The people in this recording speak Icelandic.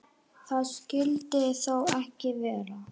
Það skyldi þó ekki vera.